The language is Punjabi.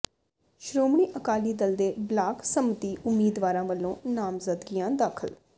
ਸ਼ੋ੍ਰਮਣੀ ਅਕਾਲੀ ਦਲ ਦੇ ਬਲਾਕ ਸੰਮਤੀ ਉਮੀਦਵਾਰਾਂ ਵਲੋਂ ਨਾਮਜ਼ਦਗੀਆਂ ਦਾਖ਼ਲ